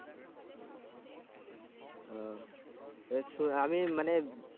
ও আমি মানে